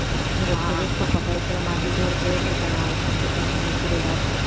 அந்த stethoscope அ கழுத்துல மாட்டிக்கிட்டு ஒரு paper பேனாவை வச்சுக்கிட்டு பிள்ளைங்க நிக்குதுடா